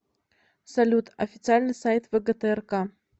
салют официальный сайт вгтрк